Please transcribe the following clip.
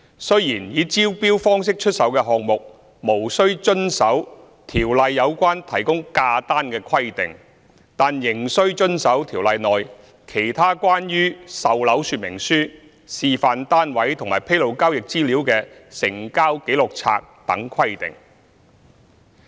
雖然以招標方式出售的項目無須遵守《條例》有關提供價單的規定，但仍須遵守《條例》內其他關於售樓說明書、示範單位和披露交易資料的成交紀錄冊等規定。